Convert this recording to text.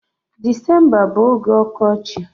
Disemba bu oge ọkọchị.